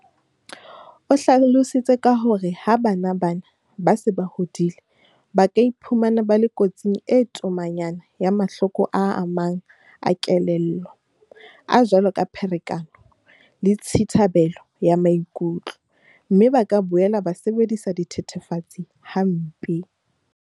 O hlalositse ka hore ha bana bana ba se ba hodile, ba ka iphumana ba le kotsing e tomanyana ya mahloko a mang a kelello, a jwalo ka pherekano le tshithabelo ya maikutlo, mme ba ka boela ba sebedisa dithethefatsi hampe.